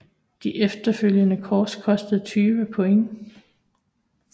De efterfølgende kors kostede 20 point